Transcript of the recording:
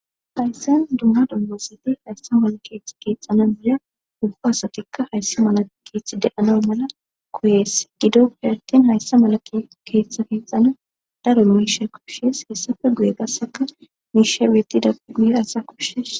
Hayssen dumma dummasati hayssa mala keeththa keexana biya ufa asatikka hayssi mala keeththi de7ana mala koyees gido uihartin hayssa mala keeththa keexana daro misha koshshees hessafe guye gasseka miishawiyeti dappi guye asa kushshees.